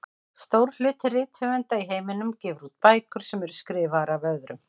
Stór hluti rithöfunda í heiminum gefur út bækur sem eru skrifaðar af öðrum.